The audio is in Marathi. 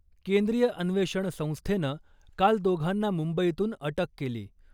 केंद्रीय अन्वेषण संस्थेनं काल दोघांना मुंबईतून अटक केली .